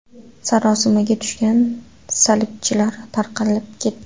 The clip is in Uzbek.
Sarosimaga tushgan salibchilar tarqalib ketdi.